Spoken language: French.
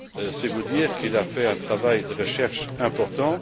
C'est vous dire qu'il a fait un travail de recherche important.